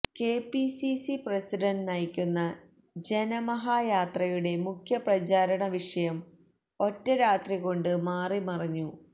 KPCC president നയിക്കുന്ന ജനമഹായാത്രയുടെ മുഖ്യപ്രചാരണ വിഷയം ഒറ്റ രാത്രി കൊണ്ട് മാറിമറിഞ്ഞു